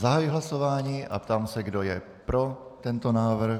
Zahajuji hlasování a ptám se, kdo je pro tento návrh.